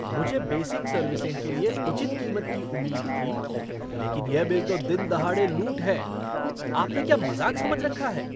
मुझे basic servicing के लिए उचित कीमत की उम्मीद थी, लेकिन यह बिल तो दिन दहाड़े लूट है! आपने क्या मज़ाक समझ रखा है?